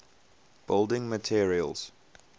building materials